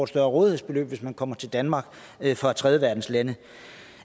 større rådighedsbeløb hvis man kommer til danmark fra tredjeverdenslande